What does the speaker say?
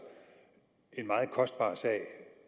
en meget kostbar sag